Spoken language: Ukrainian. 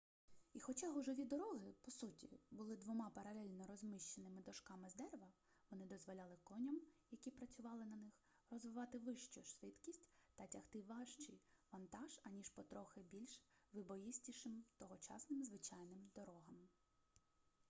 і хоча гужові дороги по суті були двома паралельно розміщеними дошками з дерева вони дозволяли коням які працювали на них розвивати вищу швидкість та тягти важчий вантаж аніж по трохи більш вибоїстішим тогочасним звичайним дорогам